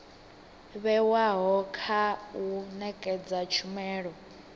vhewaho kha u nekedza tshumelo